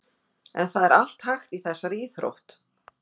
En það er allt hægt í þessari íþrótt.